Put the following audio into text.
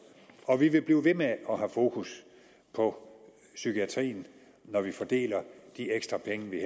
og vi vil blive ved med at have fokus på psykiatrien når vi fordeler de ekstra penge vi